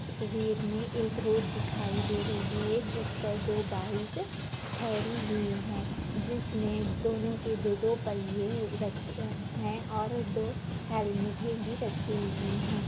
तस्वीर में एक रोड दिखाई दे रही है जिस पर दो बाइक ठेहरी हुई है जिसमें दोनों के दो-दो पहिए रखे हैं और दो हेलमेटे भी रखी हुई है।